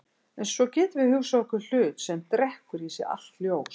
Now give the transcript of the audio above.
En svo getum við hugsað okkur hlut sem drekkur í sig allt ljós.